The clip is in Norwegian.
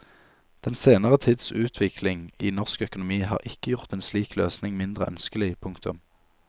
Den senere tids utvikling i norsk økonomi har ikke gjort en slik løsning mindre ønskelig. punktum